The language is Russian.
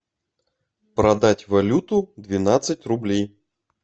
продать валюту двенадцать рублей